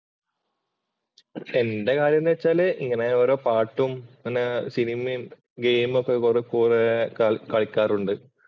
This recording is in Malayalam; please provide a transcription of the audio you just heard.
എന്‍റെ കാര്യം എന്ന് വച്ചാല് ഇങ്ങനെ ഓരോ പാട്ടും, ഇങ്ങനെ സിനിമയും, ഗെയിമും ഒക്കെ കുറെ കുറെ കളിക്കാറുണ്ട്.